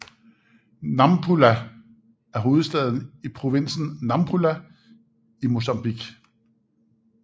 Nampula er hovedbyen i provinsen Nampula i Mozambique